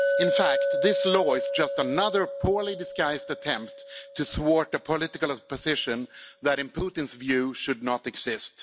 In fact, this law is just another poorly disguised attempt to thwart a political opposition that in Putin's view should not exist.